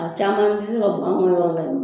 A caman tɛ se ka bɔ an ka yɔrɔ la.